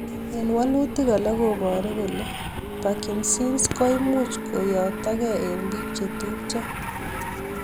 Eng' walutik alak koparu kole parkinsins koimuch koyaotakei eng biik chetupcho